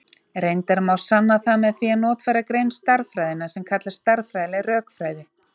Reyndar má sanna það með því að notfæra grein stærðfræðinnar sem kallast stærðfræðileg rökfræði.